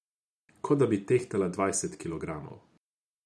Kot da bi tehtala dvajset kilogramov.